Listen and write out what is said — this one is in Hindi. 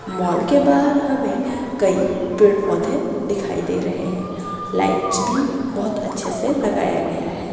मॉल के बाहर हमें कई पेड़ पौधे दिखाई दे रहे है लाइट्स भी बहुत अच्छे से लगाया गया है।